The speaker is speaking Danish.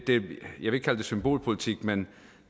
symbolpolitik men